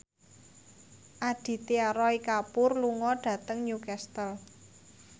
Aditya Roy Kapoor lunga dhateng Newcastle